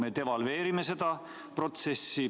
Me devalveerime seda protsessi.